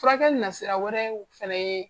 Furakɛ nasira wɛrɛw fɛnɛ ye